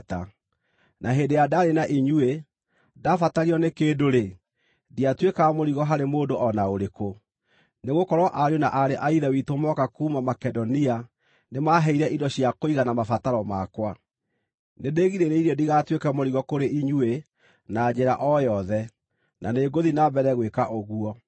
Na hĩndĩ ĩrĩa ndaarĩ na inyuĩ, ndabatario nĩ kĩndũ-rĩ, ndiatuĩkaga mũrigo harĩ mũndũ o na ũrĩkũ, nĩgũkorwo ariũ na aarĩ a Ithe witũ moka kuuma Makedonia nĩmaheire indo cia kũigana mabataro makwa. Nĩndĩgirĩrĩirie ndigatuĩke mũrigo kũrĩ inyuĩ na njĩra o yothe, na nĩngũthiĩ na mbere gwĩka ũguo.